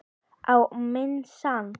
Á minn sann.!